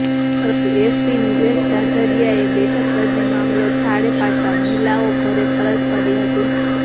પરંતુ એસપી નિલેશ જાજડીયાએ બેઠક કરીને મામલો થાળે પાડતાં મહિલાઓ ઘરે પરત ફરી હતી